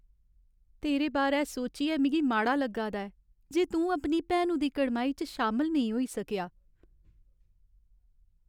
तेरे बारै सोचियै मिगी माड़ा लग्गै दा ऐ जे तूं अपनी भैनु दी कड़माई च शामल नेईं होई सकेआ।